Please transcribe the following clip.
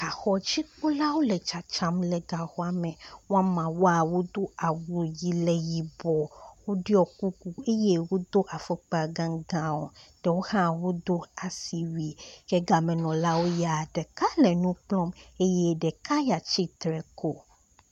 Gaxɔdzikpɔlawo le tsatsam le gaxɔame , woameawoa wodó awu yi le yibɔ woɖiɔ kuku eye wodó afɔkpa gãgãwo ɖewo hã wodó asiwui ke gamenɔlawoya ɖeka le nukplɔm eye ɖeka ya tsitsre ko